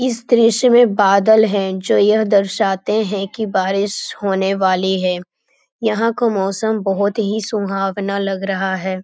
इस दृश्य में बादल है जो यह दर्शाते है कि बारिश होने वाली है यहाँ को मौसम बहुत ही सुहावना लग रहा है ।